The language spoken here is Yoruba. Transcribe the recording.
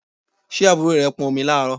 Ṣé àbúrò rẹ pọn omi láàárọ̀?